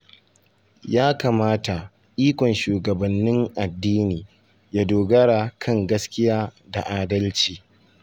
Ya kamata ikon shugabannin addini ya dogara kan gaskiya da adalci.